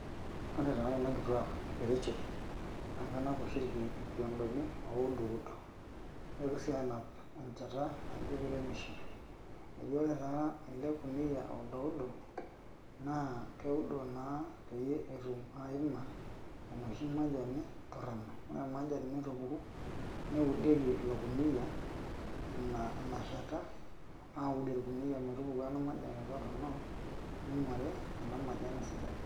ore taa kuna kituak e kericho naa kenap oshi ilkiodoni, nitoki sii anap enchata naijio keremisho eji ore taa ,ele kuniyia oududo naa keudo naa pee etum aima enoshi majani toronok, ore naa inashata naa keudieki metupuku ina majani toronok ninguari esidai.